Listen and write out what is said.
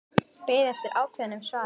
Beið eftir ákveðnu svari.